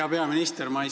Hea peaminister!